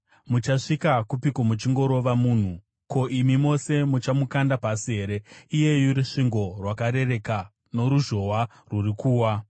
Muchasvika kupiko muchingorova munhu? Ko, imi mose muchamukanda pasi here, iyeyu rusvingo rwakarereka, noruzhowa rwuri kuwa?